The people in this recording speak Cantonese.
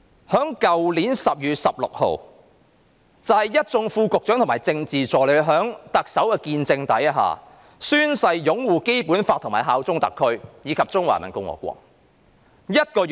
去年12月16日，一眾副局長和政治助理在特首見證下，宣誓擁護《基本法》，效忠中華人民共和國香港特別行政區。